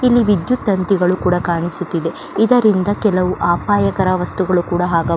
ಇಲ್ಲಿ ವಿದ್ಯುತ್ ತಂತಿಗಳು ಕೂಡ ಕಾಣಿಸುತ್ತಿದೆ ಇದರಿಂದ ಕೆಲವು ಅಪಾಯಕಾರಿ ವಸ್ತುಗಳು ಕೂಡ ಆಗಬಹು --